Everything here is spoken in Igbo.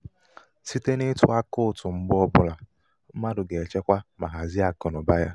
site n'ịtụ akaụtụ mgbe ọ bụla mmadụ ga -echekwa ma hazie akụnaụba ya.